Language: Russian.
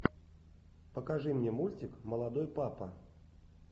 покажи мне мультик молодой папа